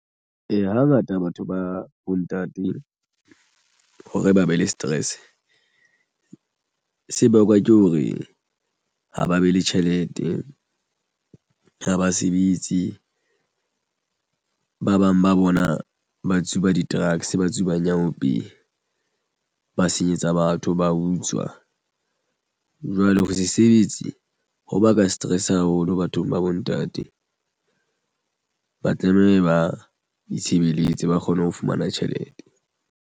Ee, hangata batho ba bontate hore ba be le stress se bakwa ke hore ha ba be le tjhelete ha ba sebetse. Ba bang ba bona ba tsuba di-drugs ba tsuba nyaope ba senyetsa batho ba utswa jwale ho sesebetsi hoba ka stress haholo bathong ba bo ntate ba tlameha ba itshebeletse ba kgone ho fumana tjhelete.